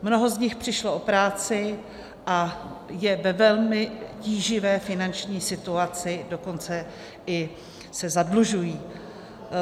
Mnoho z nich přišlo o práci a jsou ve velmi tíživé finanční situaci, dokonce se i zadlužují.